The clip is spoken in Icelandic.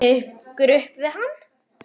Berið ykkur upp við hann!